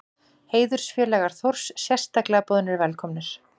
Heiðursfélagar Þórs sérstaklega boðnir velkomnir.